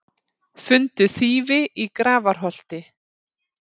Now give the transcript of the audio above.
Fundu þýfi í Grafarholti